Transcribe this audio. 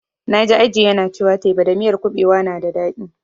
Na ji Aji yana cewa teba da miyar kuɓewa tana da daɗi.